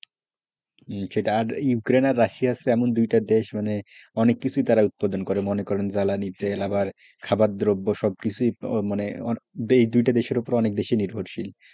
Russia আর Ukraine হচ্ছে এমন দুটি দেশ মানে অনেক কিছুই তারা উৎপাদন করেমনে করো জ্বালানি তেল আবার খাবার দ্রব্য সবকিছুই মানে এই দুইটা দেশের উপর অনেক বেশি নির্ভরশীল,